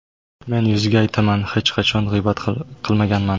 Men yuziga aytaman, hech qachon g‘iybat qilmaganman.